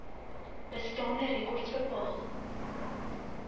bestaande rekords bepaal